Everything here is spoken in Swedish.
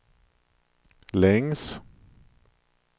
längs